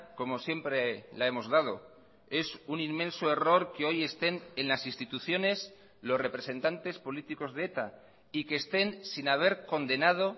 como siempre la hemos dado es un inmenso error que hoy estén en las instituciones los representantes políticos de eta y que estén sin haber condenado